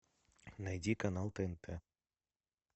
найди канал тнт